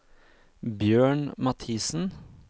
Bjørn Mathisen